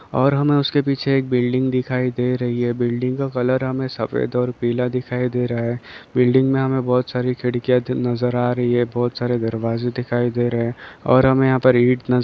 और हमे उसके पीछे एक बिल्डिंग दिखाई दे रही है बिल्डिंग का कलर हमे सफ़ेद और पीला दिखाई दे रहा है बिल्डिंग में हमे बहोत सारी खिड़किया ज नज़र आ रही है बहोत सारे दरवाज़े दिखाई दे रहे है और हमे यहाँ पर ईंट नज़र --